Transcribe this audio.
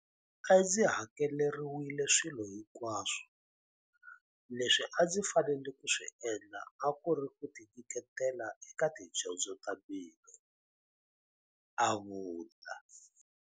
A ndzi hakeleriwile swilo hinkwaswo, leswi a ndzi fanele ku swi endla a ku ri ku tinyiketela eka tidyondzo ta mina, a vula.